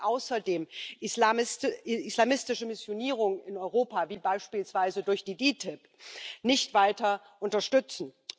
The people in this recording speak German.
Wir sollten außerdem islamistische Missionierung in Europa, wie beispielsweise durch die Ditib, nicht weiter unterstützen.